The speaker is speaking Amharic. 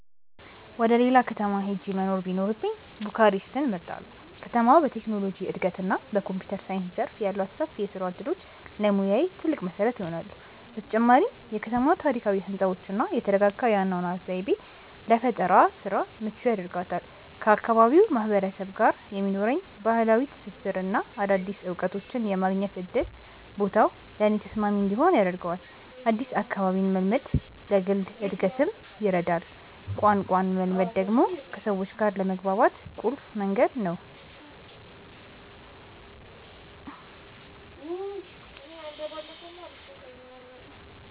ወደ ሌላ ከተማ ሄጄ መኖር ቢኖርብኝ ቡካሬስትን እመርጣለሁ። ከተማዋ በቴክኖሎጂ እድገትና በኮምፒውተር ሳይንስ ዘርፍ ያሏት ሰፊ የስራ እድሎች ለሙያዬ ትልቅ መሰረት ይሆናሉ። በተጨማሪም የከተማዋ ታሪካዊ ህንፃዎችና የተረጋጋ የአኗኗር ዘይቤ ለፈጠራ ስራ ምቹ ያደርጋታል። ከአካባቢው ማህበረሰብ ጋር የሚኖረኝ ባህላዊ ትስስርና አዳዲስ እውቀቶችን የማግኘት እድል ቦታው ለእኔ ተስማሚ እንዲሆን ያደርገዋል። አዲስ አካባቢን መልመድ ለግል እድገትም ይረዳል። ቋንቋን መለማመድ ደግሞ ከሰዎች ጋር ለመግባባት ቁልፍ መንገድ ነው።